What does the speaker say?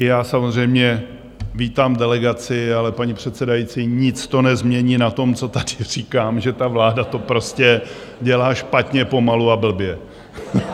I já samozřejmě vítám delegaci, ale paní předsedající, nic to nezmění na tom, co tady říkám, že ta vláda to prostě dělá špatně, pomalu a blbě.